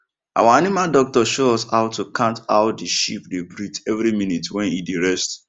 our animal doctor show us how to count how the sheep dey breathe every minute wen e dey rest